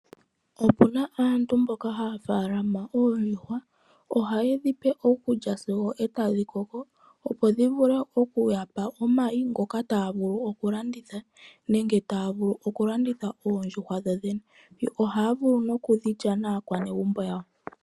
Opu na aantu mboka haa faalama oondjuhwa. Ohaye dhi pe okulya sigo e tadhi koko, opo dhi vule oku ya pa omayi ngoka taya vulu okulanditha nenge taya vulu okulanditha oondjuhwa dhodhene. Yo ohaya vulu noku dhi lya naakwanegumbo yawo.